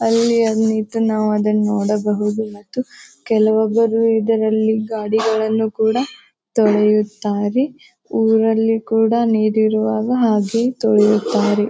ಅಲ್ಲಿ ಅಹ್ ನೀತು ನಾವ್ ಅದನ್ನ ನೋಡಬಹುದು ಮತ್ತು ಕೆಲವೊಬ್ಬರು ಇದರಲ್ಲಿ ಗಾಡಿಗಳನ್ನು ಕೂಡ ತೊಳೆಯುತ್ತಾರೆ. ಊರಲ್ಲಿ ಕೂಡ ನೀರಿರುವಾಗ ಹಾಗೆ ತೊಳೆಯುತ್ತಾರೆ.